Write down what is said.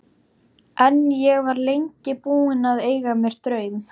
En ég var lengi búin að eiga mér draum.